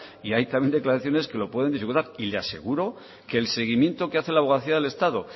y hay también declaraciones que lo pueden dificultar y le aseguro que el seguimiento que hace la abogacía del estado